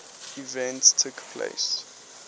events took place